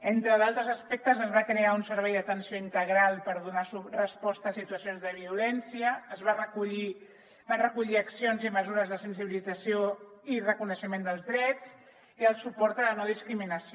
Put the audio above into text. entre altres aspectes es va crear un servei d’atenció integral per donar resposta a situacions de violència va recollir accions i mesures de sensibilització i reconeixement dels drets i el suport a la no discriminació